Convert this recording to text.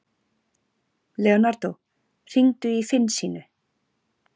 Leonardo, hringdu í Finnsínu.